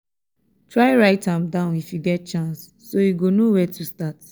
try write am down if yu get chance so yu go no wia to start